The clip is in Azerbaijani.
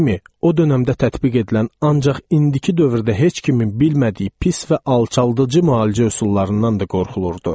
o dönəmdə tətbiq edilən ancaq indiki dövrdə heç kimin bilmədiyi pis və alçaldıcı müalicə üsullarından da qorxulurdu.